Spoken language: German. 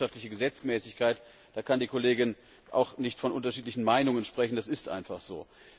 Das ist eine wirtschaftliche Gesetzmäßigkeit, da kann die Kollegin auch nicht von unterschiedlichen Meinungen sprechen, das ist einfach so.